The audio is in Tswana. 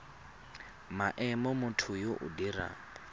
maemo motho yo o dirang